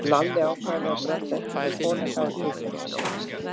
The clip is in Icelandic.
Lalli ákvað að leyfa Bröndu að heimsækja Kol, en það var kisan hans Jóa.